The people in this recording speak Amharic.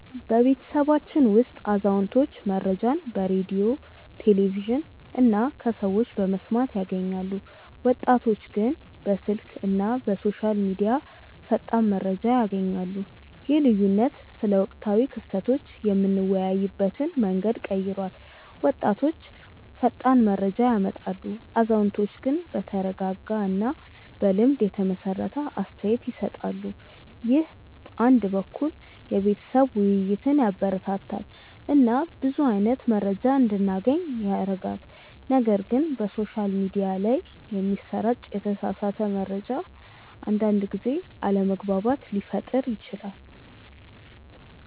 በቤተሰባችን ውስጥ አዛውንቶች መረጃን በሬዲዮ፣ ቴሌቪዥን እና ከሰዎች በመስማት ያገኛሉ፣ ወጣቶች ግን በስልክ እና በሶሻል ሚዲያ ፈጣን መረጃ ያገኛሉ። ይህ ልዩነት ስለ ወቅታዊ ክስተቶች የምንወያይበትን መንገድ ቀይሯል፤ ወጣቶች ፈጣን መረጃ ያመጣሉ፣ አዛውንቶች ግን በተረጋጋ እና በልምድ የተመሰረተ አስተያየት ይሰጣሉ። ይህ አንድ በኩል የቤተሰብ ውይይትን ያበረታታል እና ብዙ አይነት መረጃ እንዲገናኝ ያደርጋል፣ ነገር ግን በሶሻል ሚዲያ ላይ የሚሰራጭ የተሳሳተ መረጃ አንዳንድ ጊዜ አለመግባባት ሊፈጥር ይችላል